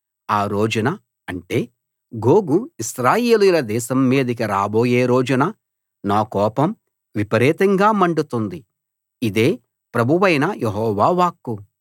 ఆ రోజున అంటే గోగు ఇశ్రాయేలీయుల దేశం మీదికి రాబోయే రోజున నా కోపం విపరీతంగా మండుతుంది ఇదే ప్రభువైన యెహోవా వాక్కు